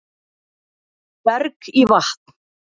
Berg í vatn